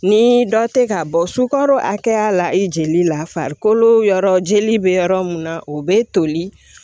Ni dɔ tɛ ka bɔ sukaro hakɛya la i jeli la farikolo yɔrɔ jeli bɛ yɔrɔ mun na o bɛ toli